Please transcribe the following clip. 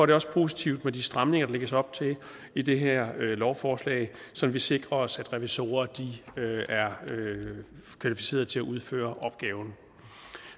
det også positivt med de stramninger der lægges op til i det her lovforslag så vi sikrer os at revisorer er kvalificerede til at udføre opgaven